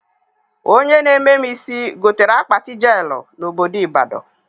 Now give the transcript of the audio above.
Onye na-eme mụ isi gotere akpati jelụ na obodo Ịbadọ